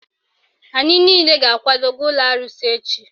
Anyị niile ga-akwado gaa ụlọ arụsị echi